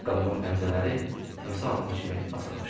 Ayaqqabımın pəncələri timsah ağzı kimi açılmışdı.